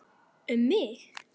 Um mig?